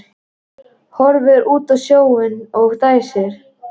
Horfir út á sjóinn og dæsir.